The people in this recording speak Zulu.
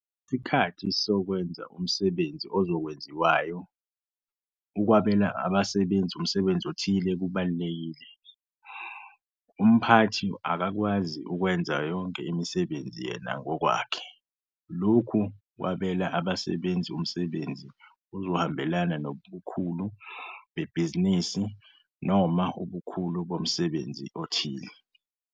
Ngesikhathi sokwenza umsebenzi ozokwenziwayo, ukunikeza, ukwabela abasebenzi umsebenzi, umsebenzi othile kubalulekile. Umphathi akakwazi ukwenza yonke imisebenzi yena ngokwakhe. Lokhu ukwabela abasebenzi umsebenzi kuzohambelana nobukhulu bebhizinisi noma ubukhulu bomsebenzi othile.